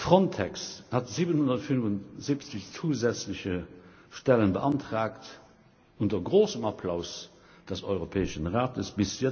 Frontex hat 775 zusätzliche Stellen beantragt unter großem Applaus des Europäischen Rates.